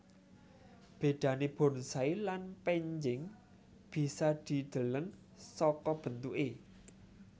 Bedané bonsai lan pénjing bisa dideleng saka bentuké